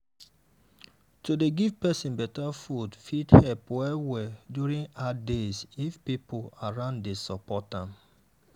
to dey give person better food fit help well-well during hard days if people around dey support am.